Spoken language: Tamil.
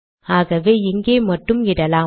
ஆகவே இங்கே மட்டும் இடலாம்